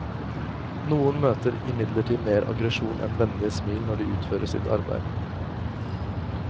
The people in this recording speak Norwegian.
Noen møter imidlertid mer aggresjon enn vennlige smil når de utfører sitt arbeid.